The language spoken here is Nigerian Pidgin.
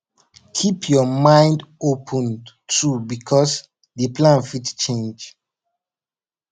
keep your mind open too because di plan fit change